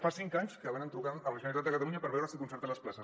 fa cinc anys que van trucant a la generalitat de catalunya per veure si concerta les places